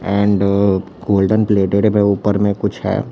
And golden plated में ऊपर में कुछ है।